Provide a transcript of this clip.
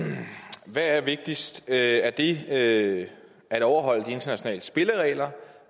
hvad er det vigtigste er det at at overholde de internationale spilleregler